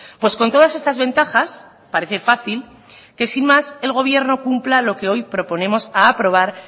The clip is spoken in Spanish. pues con todas estas ventajas parece fácil que sin más el gobierno cumpla lo que hoy proponemos aprobar